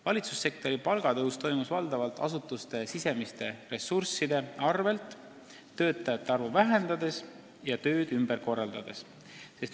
Valitsussektori palgatõus on saavutatud valdavalt asutuste sisemisi ressursse kasutades: töötajate arvu vähendades ja tööd ümber korraldades.